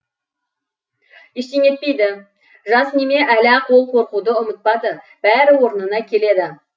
ештеңе етпейді жас неме әлі ақ ол қорқуды ұмытпады бәрі орнына келеді